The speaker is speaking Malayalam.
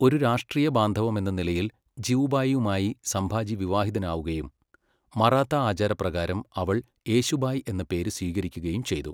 ഒരു രാഷ്ട്രീയബാന്ധവമെന്നനിലയിൽ ജിവുബായിയുമായി സംഭാജി വിവാഹിതനാവുകയും, മറാത്താ ആചാരപ്രകാരം അവൾ യേശുബായ് എന്ന പേര് സ്വീകരിക്കുകയും ചെയ്തു.